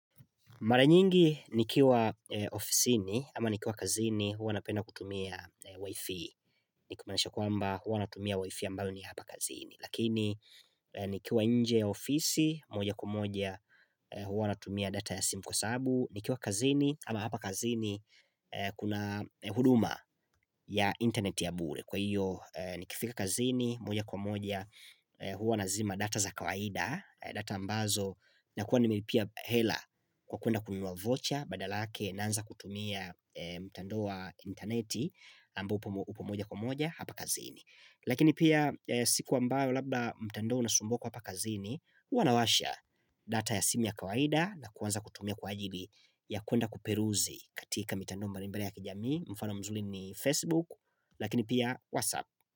Mara nyingi nikiwa ofisi ni ama nikiwa kazini huwa napenda kutumia wifi Nikumaanisha kwamba huwa natumia wifi ambayo ni hapa kazini Lakini nikiwa nje ya ofisi moja kwa moja huwa natumia data ya simu kwa saabu Nikiwa kazini ama hapa kazini kuna huduma ya internet ya bure Kwa hiyo nikifika kazini moja kwa moja huwa nazima data za kawaida data ambazo na kuwa nimelipia hela kwa kwenda kununua vocha badala yake naanza kutumia mtandao wa interneti ambao upomoja kumoja hapa kazini lakini pia siku ambayo labda mtandao unasumbua kwa hapa kazini huwanawasha data ya simu ya kawaida na kuanza kutumia kwa ajili ya kwenda kuperuzi katika mitandao mbali mbali ya kijamii mfano mzuri ni facebook lakini pia whatsapp.